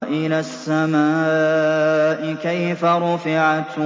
وَإِلَى السَّمَاءِ كَيْفَ رُفِعَتْ